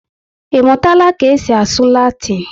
Imutala ka esi asụ Latin?